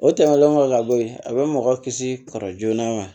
O tɛmɛnlen kɔfɛ ka bɔ ye a bɛ mɔgɔ kisi kɔri joona wa